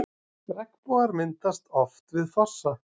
Regnbogar myndast oft við fossa.